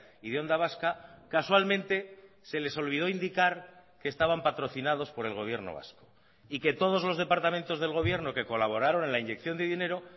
y de onda vasca casualmente se les olvidó indicar que estaban patrocinados por el gobierno vasco y que todos los departamentos del gobierno que colaboraron en la inyección de dinero